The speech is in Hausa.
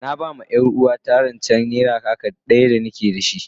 Na ba ma yar uwarta rance naira kaka daya da ni ke da shi,